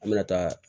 An bɛna taa